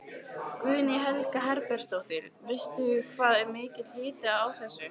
Guðný Helga Herbertsdóttir: Veistu hvað er mikill hiti á þessu?